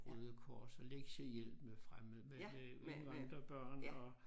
Røde Kors og lektiehjælp med fremmede med med indvandrerbørn og